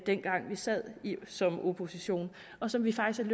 dengang vi sad som opposition og som vi faktisk